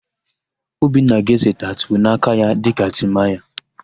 Obinna ga-ese tatuu n'aka ya dịka Timaya.